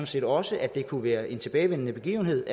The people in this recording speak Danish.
set også at det kunne være en tilbagevendende begivenhed